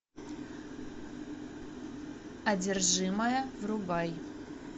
одержимая врубай